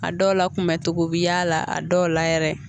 A dɔw la kunbɛn togo bi y'a la a dɔw la yɛrɛ